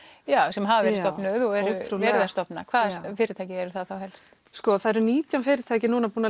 sem hafa verið stofnuð og er verið að stofna hvaða fyrirtæki eru það helst sko það eru nítján fyrirtæki búin að